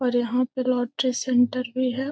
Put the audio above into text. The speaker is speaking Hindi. और यहाँ पे लॉटरी सेण्टर भी है।